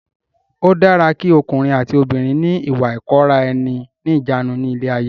Ó dára ki ọkùnrin àti obìnrin ni ìwà ìkóra ẹni níjàánu ni ilé ayé.